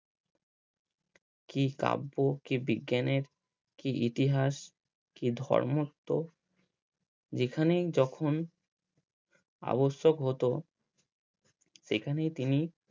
কি কাব্য কি বিজ্ঞানের কি ইতিহাস কি ধর্মত্ব যেখানেই যখন আবশ্যক হতো সেখানেই তিনি